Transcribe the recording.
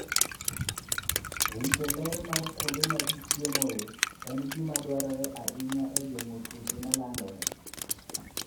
Rito ler mar kuonde ma ji chiemoe en gima dwarore ahinya e geng'o tuoche ma landore.